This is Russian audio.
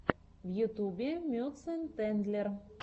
в ютубе мюцентендлер